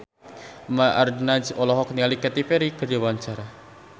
Eva Arnaz olohok ningali Katy Perry keur diwawancara